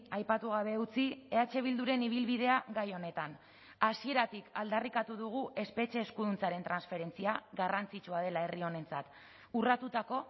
aipatu gabe utzi eh bilduren ibilbidea gai honetan hasieratik aldarrikatu dugu espetxe eskuduntzaren transferentzia garrantzitsua dela herri honentzat urratutako